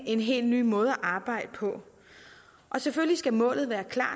en helt ny måde at arbejde på selvfølgelig skal målet være klart